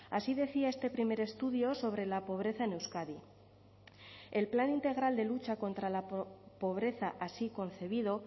así decía este primer estudio sobre la pobreza en euskadi el plan integral de lucha contra la pobreza así concebido